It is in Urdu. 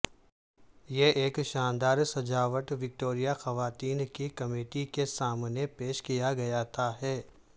یہ ایک شاندار سجاوٹ وکٹوریہ خواتین کی کمیٹی کے سامنے پیش کیا گیا تھا ہے